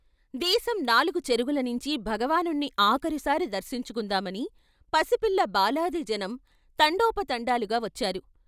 దేశం నాలుగు చెరుగులనించీ భగవానుణ్ణి ఆఖరుసారి దర్శించుకుందామని పసిపిల్ల బాలాది జనం తండోపతండాలుగా వచ్చారు.